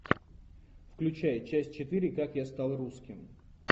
включай часть четыре как я стал русским